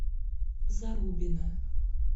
зарубина